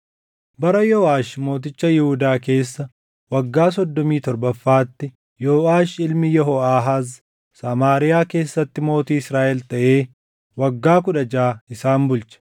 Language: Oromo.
Bara Yooʼaash mooticha Yihuudaa keessa waggaa soddomii torbaffaatti Yooʼaash ilmi Yehooʼaahaaz Samaariyaa keessatti mootii Israaʼel taʼee waggaa kudha jaʼa isaan bulche.